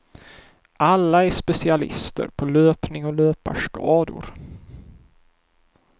Alla är specialister på löpning och löparskador.